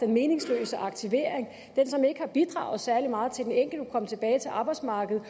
meningsløse aktivering som ikke har bidraget særlig meget til at den enkelte kan komme tilbage til arbejdsmarkedet